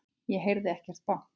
Ég heyrði ekkert bank.